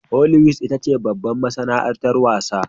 Holiwwood itace babbar masanaartar wasn